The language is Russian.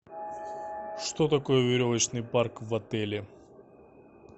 что такое веревочный парк в отеле